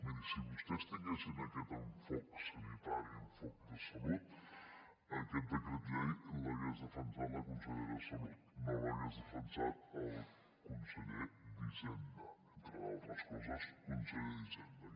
miri si vostès tinguessin aquest enfoc sanitari enfoc de salut aquest decret llei l’hagués defensat la consellera de salut no l’hagués defensat el conseller d’hisenda entre altres coses conseller d’hisenda